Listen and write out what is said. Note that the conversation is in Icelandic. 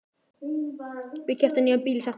Við keyptum nýjan bíl í september.